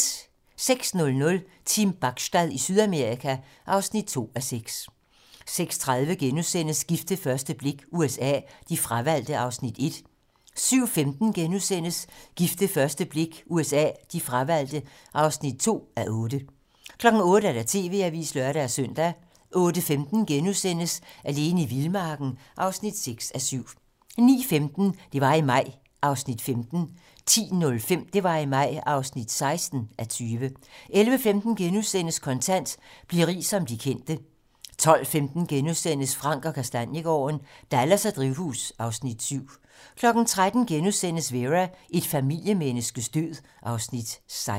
06:00: Team Bachstad i Sydamerika (2:6) 06:30: Gift ved første blik USA: De fravalgte (1:8)* 07:15: Gift ved første blik USA: De fravalgte (2:8)* 08:00: TV-Avisen (lør-søn) 08:15: Alene i vildmarken (6:7)* 09:15: Det var i maj (15:20) 10:05: Det var i maj (16:20) 11:15: Kontant: Bliv rig som de kendte * 12:15: Frank & Kastaniegaarden - Dallas og drivhus (Afs. 7)* 13:00: Vera: Et familiemenneskes død (Afs. 16)*